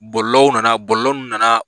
Bɔlɔlɔw nana bɔlɔlɔ ninnu nana